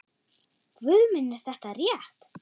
Guð minn er þetta rétt?